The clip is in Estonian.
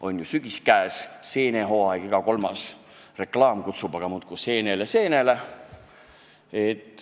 On ju sügis käes, seenehooaeg, iga kolmas reklaam kutsub aga muudkui seenele-seenele.